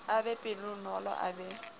a be pelonolo a be